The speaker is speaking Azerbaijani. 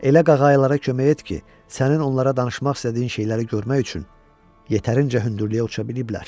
Elə qağayılara kömək et ki, sənin onlara danışmaq istədiyin şeyləri görmək üçün yetərincə hündürlüyə uça biliblər.